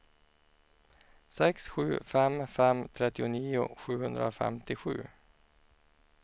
sex sju fem fem trettionio sjuhundrafemtiosju